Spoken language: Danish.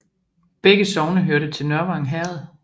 Begge sogne hørte til Nørvang Herred